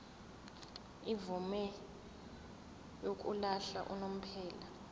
imvume yokuhlala unomphela